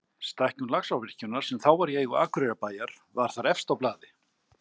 Stækkun Laxárvirkjunar, sem þá var í eigu Akureyrarbæjar, var þar efst á blaði.